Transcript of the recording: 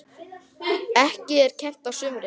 Ekki er kennt á sumrin.